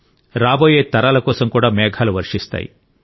రాబోయే తరాల కోసం కూడా మేఘాలు వర్షిస్తాయి